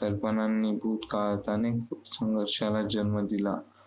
कल्पनांनी भूतकाळात अनेक संघर्षाला जन्म दिला.